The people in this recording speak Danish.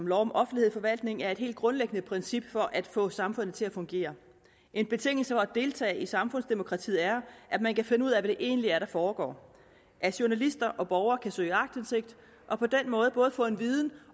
lov om offentlighed i forvaltningen er et helt grundlæggende princip for at få samfundet til at fungere en betingelse for at deltage i samfundsdemokratiet er at man kan finde ud af hvad det egentlig er der foregår at journalister og borgere kan søge aktindsigt og på den måde både få en viden